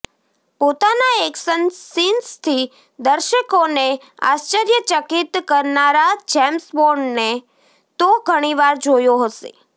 પોતાના એક્શન સીન્સથી દર્શકોને આશ્ચર્યચકીત કરનારા જેમ્સ બોન્ડને તો ઘણીવાર જોયો હશે